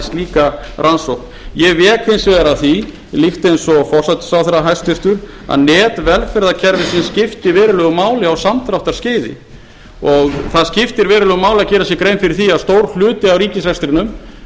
slíka rannsókn ég vék hins vegar að því líkt eins og hæstvirtur forsætisráðherra að net velferðarkerfisins skipti verulegu máli á samdráttarskeiði og það skipti verulegu máli að gera sér grein fyrir því að stór hluti af ríkisrekstrinum